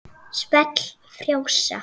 Svell frjósa.